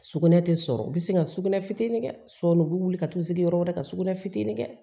Sugunɛ tɛ sɔrɔ u bɛ sin ka sugunɛ fitini kɛ u bɛ wuli ka t'u sigi yɔrɔ wɛrɛ ka sugunɛ fitinin kɛ